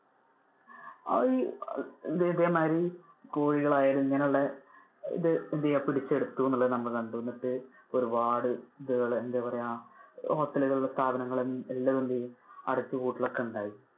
അഹ് ഏർ ഇതേമാതിരി കോഴികൾ ആയാലും ഇങ്ങനെ ഉള്ളത് പിടിച്ചെടുത്തു എന്നുള്ളത് നമ്മൾ കണ്ടു. എന്നിട്ട് ഒരുപാട് ആഹ് എന്താ പറയാ hotel കളും സ്ഥാപനങ്ങളും എല്ലാം എന്തെയും അടച്ചു പൂട്ടൽ ഒക്കെ ഉണ്ടായി.